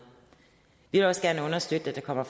vi vil også gerne understøtte at der kommer